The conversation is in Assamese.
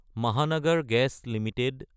Mahanagar gas Ltd